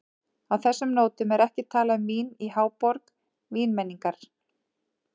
Á þessum nótum er ekki talað um vín í háborg vínmenningar.